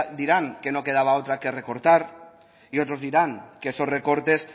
dirán que no quedaba otra que recortar y otros dirán que esos recortes